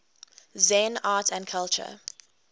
zen art and culture